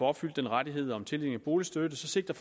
opfyldt rettigheden om tildeling af boligstøtte sigter